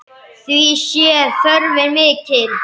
Því sé þörfin mikil.